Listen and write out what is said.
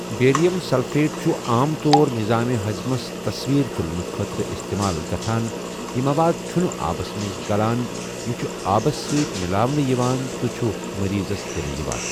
Barium sulphate چھُ عام طور نِظامِ ہَضٕمَس تَصویٖر تُلنہٕ خٲطرٕ اِستِمال گَژھان یہِ مَواد چھُنہٕ آبَس مَنٛز گَلَن، یہِ چھُ آبَس سٟتؠ مِلاونہٕ یِوان تہٕ چھُ مریضس دِنہٕ یِوان۔